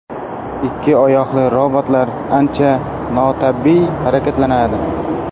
Ikki oyoqli robotlar ancha notabiiy harakatlanadi.